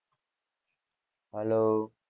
hello